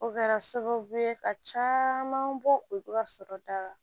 O kɛra sababu ye ka caman bɔ olu ka sɔrɔ da la